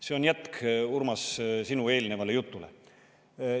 See on jätk, Urmas, sinu eelnevale jutule.